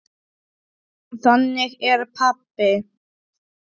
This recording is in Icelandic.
Þannig er pabbi.